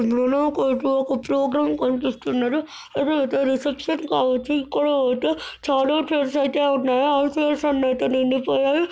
నూనో court లో(మనకైతే) ఒక programme కనిపిస్తున్నది. ఇదైతే రిసెప్షన్ కావచ్చు. ఇక్కడ అయితే చాలా చైర్స్ అయితే ఉన్నాయి. ఆ చైర్స్ అన్ని అయితే నిండిపోయాయి.